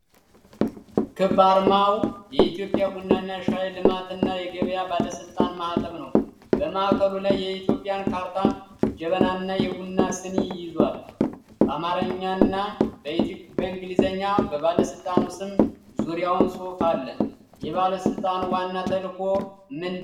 ክብ አርማው የኢትዮጵያ ቡናና ሻይ ልማትና ገበያ ባለስልጣን ማኅተም ነው። በማዕከሉ ላይ የኢትዮጵያን ካርታ፣ ጀበናና የቡና ስኒ ይዟል። በአማርኛ እና በኢንግሊዘኛ የባለስልጣኑ ስም ዙሪያውን ጽሁፍ አለ። የባለስልጣኑ ዋና ተልእኮ ምንድን ነው?